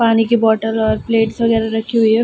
पानी की बोटल और प्लेट्स वगेरा रखी हुई है।